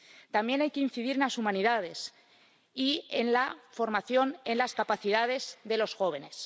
También hay que incidir en las humanidades y en la formación en las capacidades de los jóvenes.